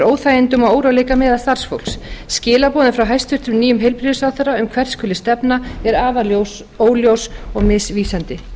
óþægindum og óróleika meðal starfsfólks skilaboðin frá hæstvirtum nýjum heilbrigðisráðherra um hvert skuli stefna er óljós og misvísandi